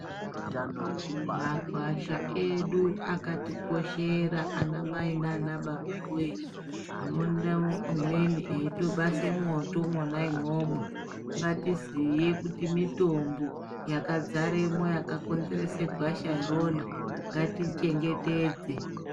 Magwasha edu akatikoshera anamai naanababawee. Tinoona umweni eitobase mwoto imwona imwomwo. Ngatiziye kuti mitombo yakadzaremwo yakakonzerese gwasha irona, ngatiichengetedze.